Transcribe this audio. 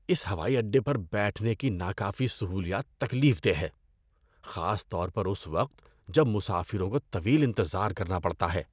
اس ہوائی اڈے پر بیٹھنے کی ناکافی سہولیات تکلیف دہ ہے، خاص طور پر اس وقت جب مسافروں کو طویل انتظار کرنا پڑتا ہے۔